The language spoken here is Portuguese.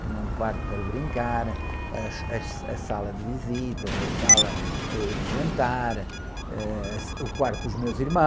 Tinha um quarto para brincar, as, as, a sala de visitas, a sala, ãh, de jantar, eh, o quarto dos meus irmãos.